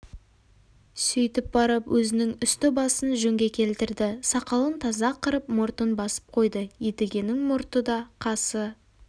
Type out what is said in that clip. сөйтіп барып өзінің үсті-басын жөнге келтірді сақалын таза қырып мұртын басып қойды едігенің мұрты да қасы